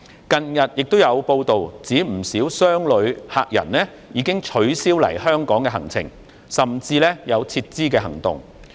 近日有報道指，不少商旅客人已經取消來港的行程，甚至有撤資的行動。